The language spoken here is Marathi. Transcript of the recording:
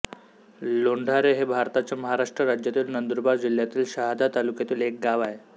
लोंढारे हे भारताच्या महाराष्ट्र राज्यातील नंदुरबार जिल्ह्यातील शहादा तालुक्यातील एक गाव आहे